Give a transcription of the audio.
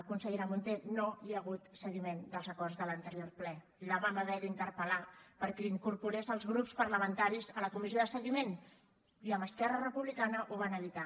consellera munté no hi ha hagut seguiment dels acords de l’anterior ple la vam haver d’interpel·lar perquè incorporés els grups parlamentaris a la comissió de seguiment i amb esquerra republicana ho van evitar